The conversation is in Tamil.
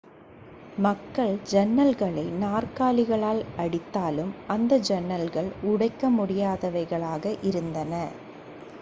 மக்கள் சன்னல்களை நாற்காலிகளால் அடித்தாலும் அந்த சன்னல்கள் உடைக்க முடியாதவைகளாக இருந்தன